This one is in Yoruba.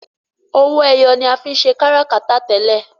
owoeye ní a fín ṣe káràkátà tẹlẹ.